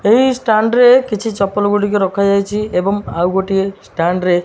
ଏହି ଷ୍ଟାଣ୍ଡ୍ ରେ କିଛି ଚପଲ ଗୁଡ଼ିକ ରଖା ଯାଇଛି ଏବଂ ଆଉ ଗୋଟିଏ ଷ୍ଟାଣ୍ଡ୍ ରେ --